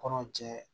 Kɔnɔ jɛ